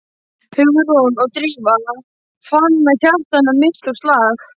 Hugrún og Drífa fann að hjarta hennar missti úr slag.